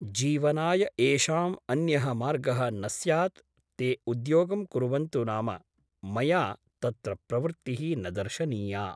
जीवनाय येषाम् अन्यः मार्गः न स्यात् ते उद्योगं कुर्वन्तु नाम मया तत्र प्रवृत्तिः न दर्शनीया ।